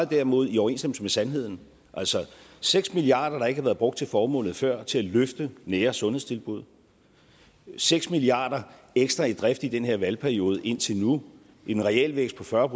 derimod i overensstemmelse med sandheden altså seks milliarder der ikke havde været brugt til formålet før til at løfte nære sundhedstilbud seks milliarder ekstra i drift i den her valgperiode indtil nu en realvækst på fyrre